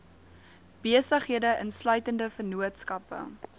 besighede insluitende vennootskappe